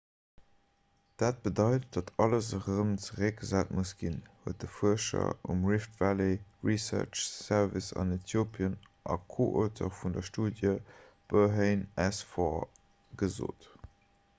dat bedeit datt alles erëm zeréckgesat muss ginn huet de fuerscher um rift valley research service an äthiopien a co-auteur vun der studie berhane asfaw gesot